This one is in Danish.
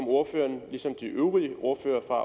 ordføreren ligesom de øvrige ordførere fra